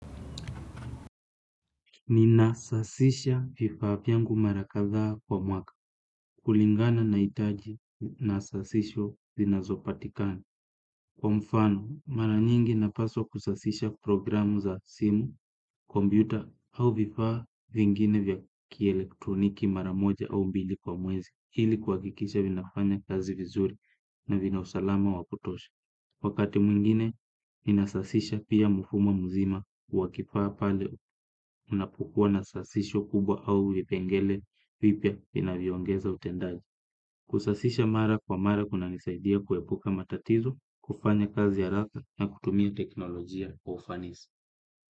Ni nasasisha vifaa vyangu mara kadhaa kwa mwaka. Kulingana naitaji nasasisho zinazopatikani. Kwa mfano, mara nyingi napaswa kusasisha programu za simu, kompyuta, au vifaa vingine vya kielektroniki maramoja au mbili kwa mwezi. Hili kuwakikisha vinafanya kazi vizuri na vinausalama wa kutosha. Wakati mwingine ninasasisha pia mfumo mzima wa kifaa pale unapokua na sasisho kubwa au vipengele vipya vinavyo ongeza utendaji. Kusasisha mara kwa mara kunanisaidia kuepuka matatizo, kufanya kazi haraka na kutumia teknolojia kwa ufanisi.